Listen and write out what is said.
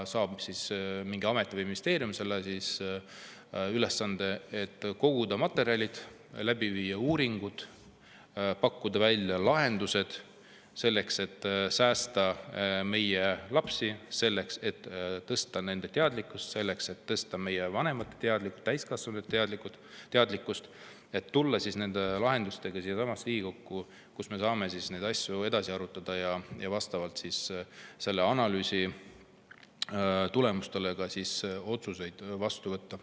Mingi amet või ministeerium saab ülesande koguda materjale, läbi viia uuringud, pakkuda välja lahendused, selleks et säästa meie lapsi, tõsta nende teadlikkust, selleks et tõsta täiskasvanute teadlikkust ja tulla lahendustega siiasamasse Riigikokku, kus me saame neid asju edasi arutada ja vastavalt selle analüüsi tulemustele otsuseid vastu võtta.